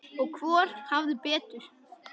Og hvor hafði betur.